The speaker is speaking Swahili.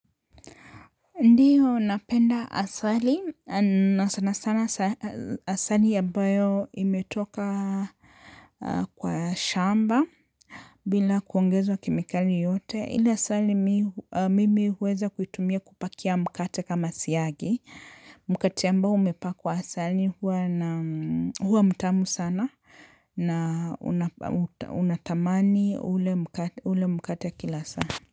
Ndiyo napenda asali na sana sana asali ambayo imetoka kwa shamba bila kuongezwa kemikali yote ile asali mi mimi huweza kuitumia kupakia mkate kama siagi mkate ambao umepakwa asali huwa na huwa mtamu sana na unatamani ule mkate kila saa.